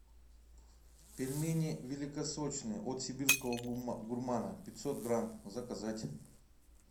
пельмени великосочные от сибирского гурмана пятьсот грамм заказать